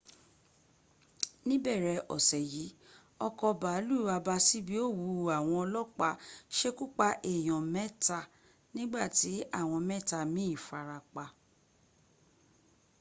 níbẹ̀rẹ̀ ọsẹ̀ yìí ọkọ̀ bàálù abàsíbi ó wùú àwọn ọlọ́pàá sekúpa èèyàn mẹ́ta nígbàtí àwọn mẹ́tàa min farapa